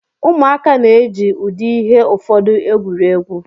Ụmụaka na-eji ụdị ihe ụfọdụ egwuri egwu.